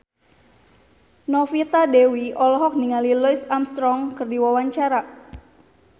Novita Dewi olohok ningali Louis Armstrong keur diwawancara